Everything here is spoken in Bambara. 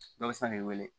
Dɔ bɛ se k'i wele